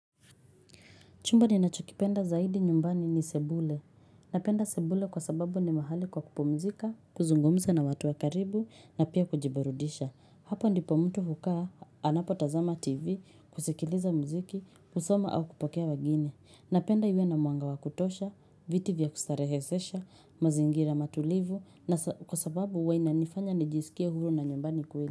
Chumba ninachokipenda zaidi nyumbani ni sebule. Napenda sebule kwa sababu ni mahali kwa kupumzika, kuzungumza na watu wa karibu na pia kujiburudisha. Hapo ndipo mtu hukaa, anapo tazama TV, kusikiliza mziki, kusoma au kupokea wageni. Napenda iwe na mwanga wa kutosha, viti vya kustarehesesha, mazingira matulivu na kwa sababu huwa inanifanya nijisikie huru na nyumbani kweli.